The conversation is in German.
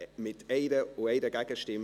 Art. 41 Abs. 3 / Art. 41, al. 3 Angenommen